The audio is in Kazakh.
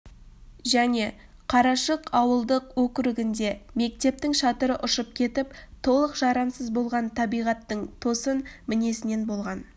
және қарашық ауылдық округінде мектептің шатыры ұшып кетіп толық жарамсыз болған табиғаттың тосын мінезінен болған